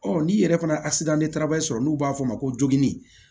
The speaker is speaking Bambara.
n'i yɛrɛ fana tabali sɔrɔ n'u b'a fɔ a ma ko jogin